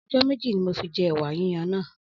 Ọjọ́ méjì ni mo fi jẹ ẹ̀wà yíyan náà.